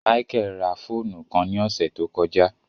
Michael rá fóònù kàn ni ọsẹ to kọja